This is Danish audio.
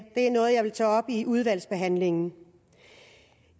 er noget jeg vil tage op i udvalgsbehandlingen